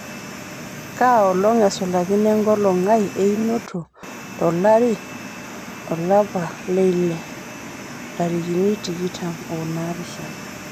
kaa olong' esulakino enkolong ai einoto telaari olapa leile ntarikini tikitan onaapishana